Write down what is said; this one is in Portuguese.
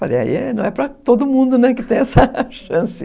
Falei, aí não é para todo mundo que tem essa chance.